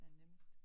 Hvad er nemmest?